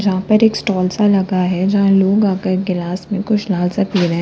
यहां पर एक स्टाल सा लगा है जहां लोग आकर गिलास में कुछ लाल सा पी रहे हैं।